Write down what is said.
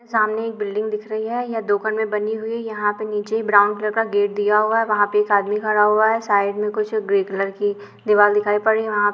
सामने एक बिल्डिंग दिख रही है। में बनी हुई यहाँ पर निचे ब्राउन कलर का गेट दिया हुआ है। वहाँ पर एक अदमी खड़ा हुआ है। साइड मै कुछ ग्रे कलर कि दीवाल दिखाई पड़ रही वहां --